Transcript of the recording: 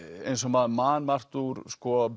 eins og maður man margt úr